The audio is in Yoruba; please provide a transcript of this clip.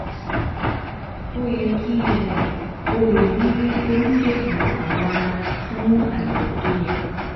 Ó yẹ kí um o lọ rí oníṣègùn awọ ara fún àyẹ̀wò tó yẹ